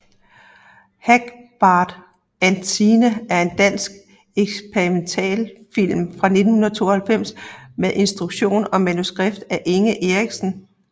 Hagbard and Signe er en dansk eksperimentalfilm fra 1992 med instruktion og manuskript af Inge Eriksen